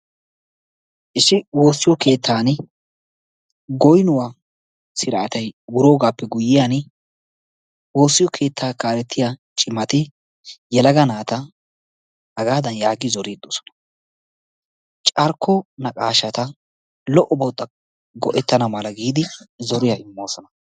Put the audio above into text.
Issi woossiyo keettani goyinuwaa siraattay wuroggappe guyoyaani woossiyo keetta kaalettiya cimmatti yelagga naatta, hagaddani yaagi zoriddi do'ossona carkko naqaashshatta lo"obawu go'ettana mala giidi zoriyaa imoosona.